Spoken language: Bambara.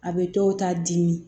A bɛ dɔw ta dimi